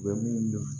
U bɛ min fɔ